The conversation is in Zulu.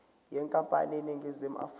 yenkampani eseningizimu afrika